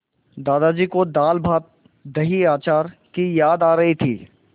दादाजी को दालभातदहीअचार की याद आ रही थी